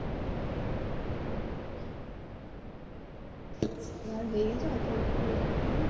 আমার হয়ে গেছে ওতো পড়ে লাভ নেই।